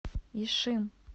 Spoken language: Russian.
ишим